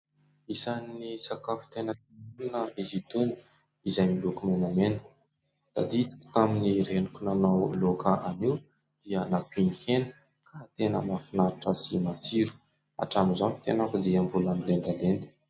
Isan'ny sakafo tena tiako izy itony izay miloko menamena. Tadidiko tamin'ny reniko nanao loaka an'io dia nampiany hena ka tena mahafinaritra sy matsiro, hatramin'izao ny tenako dia mbola milendalenda.